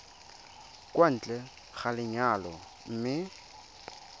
kwa ntle ga lenyalo mme